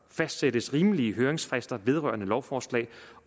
fastsættes rimelige høringsfrister vedrørende lovforslag